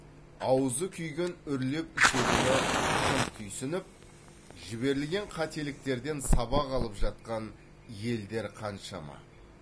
аузы күйген үрлеп ішедіні шын түйсініп жіберілген қателіктерден сабақ алып жатқан елдер қаншама